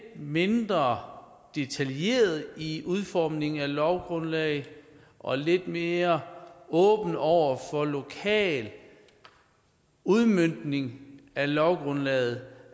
mindre detaljerede i udformningen af lovgrundlaget og lidt mere åbne over for lokal udmøntning af lovgrundlaget